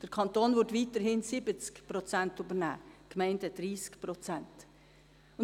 Der Kanton würde weiterhin 70 Prozent übernehmen, die Gemeinden 30 Prozent.